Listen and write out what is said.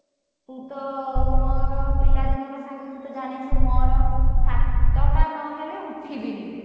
ତୁ ତ ମୋର ପିଲାଦିନର ସାଙ୍ଗ ତୁ ଜାଣିଛୁ ମୋର ସାତଟା ନହେଲେ ଉଠିବିନି ମୁଁ